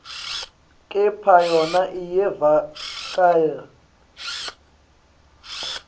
kepha yona iyevakala